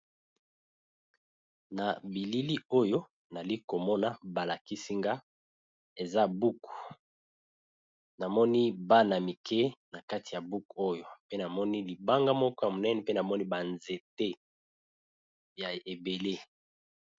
Na bilili oyo nalikomona balakisinga eza buku namoni bana mike na kati ya book oyo pe namoni libanga moko ya monene pe namoni banzete ya ebele.